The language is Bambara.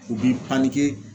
U b'i